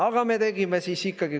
Aga me tegime ikkagi.